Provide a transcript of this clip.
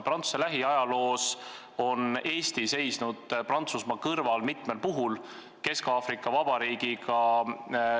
Prantsuse lähiajaloos on Eesti seisnud mitmel puhul Prantsusmaa kõrval.